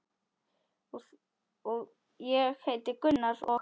Ég heiti Gunnar og.